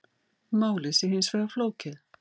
Málið sé hins vegar flókið